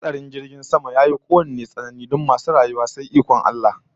Hatsarin jirgin sama yafi kowanne tsanani don masu rayuwa sai ikon Allah